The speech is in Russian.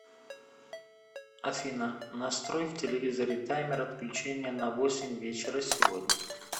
афина настрой в телевизоре таймер отключения на восемь вечера сегодня